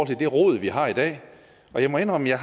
til det rod vi har i dag og jeg må indrømme at